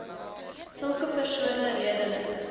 sulke persone redelik